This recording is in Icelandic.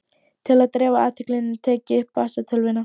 Til að dreifa athyglinni tek ég upp vasatölvuna.